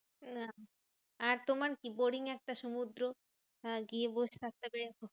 না আর তোমার কি? boring একটা সমুদ্র গিয়ে বসে থাকতে হবে।